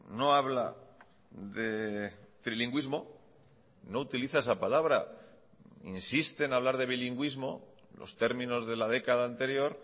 no habla de trilingüismo no utiliza esa palabra insiste en hablar de bilingüismo los términos de la década anterior